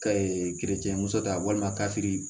gerece muso ta walima ka fili